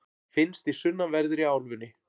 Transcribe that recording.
finnst í sunnanverðri álfunni